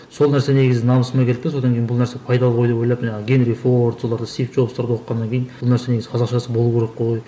сол нәрсе негізі намысыма келді де содан кейін бұл нәрсе пайдалы ғой деп ойлап жаңағы генри форд соларды стиф джобстарды оқығаннан кейін бұл нәрсенің негізі қазақшасы болу керек қой